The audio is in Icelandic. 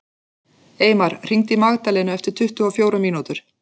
Eymar, hringdu í Magdalenu eftir tuttugu og fjórar mínútur.